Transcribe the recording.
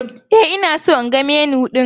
E, ina so in ga Menu ɗin